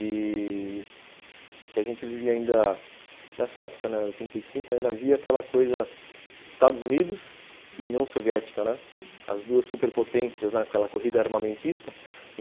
E... que a gente vivia ainda nessa época, né, oitenta e cinco, ainda havia aquela coisa Estados Unidos e União Soviética, né, as duas superpotências, aquela corrida armamentista.